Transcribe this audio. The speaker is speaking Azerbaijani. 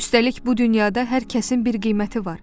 Üstəlik, bu dünyada hər kəsin bir qiyməti var.